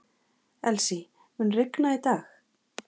Elsie, mun rigna í dag?